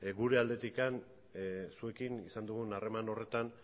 gure aldetik zuekin izan dugun harreman horretan